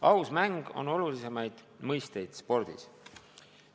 Aus mäng on olulisimaid mõisteid spordis.